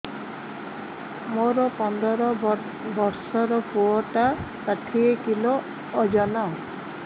ମୋର ପନ୍ଦର ଵର୍ଷର ପୁଅ ଟା ଷାଠିଏ କିଲୋ ଅଜନ